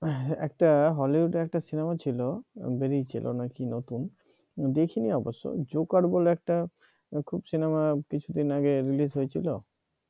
একটা hollywood একটা cinema ছিল বেরিয়েছিল নাকি নতুন দেখিনি অবশ্য জোকার বলে একটা সিনেমা কিছুদিন আগে release হয়েছিল